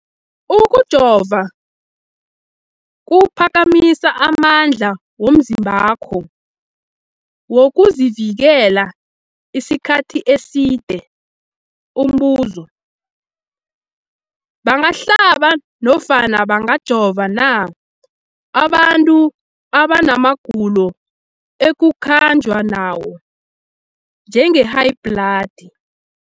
Ukujova kuphakamisa amandla womzimbakho wokuzivikela isikhathi eside. Umbuzo, bangahlaba nofana bangajova na abantu abana magulo ekukhanjwa nawo, njengehayibhladi?